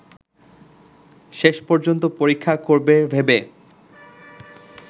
শেষ পর্যন্ত পরীক্ষা করবে ভেবে